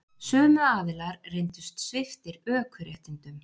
Sömu aðilar reyndust sviptir ökuréttindum